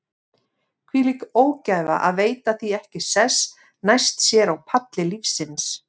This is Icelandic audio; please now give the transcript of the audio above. Þvílík ógæfa að veita því ekki sess næst sér á palli lífsins.